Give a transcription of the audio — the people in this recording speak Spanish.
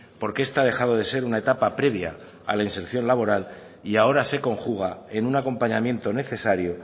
porque esta ha dejado de ser una etapa previa a la inserción laboral y ahora se conjuga en un acompañamiento necesario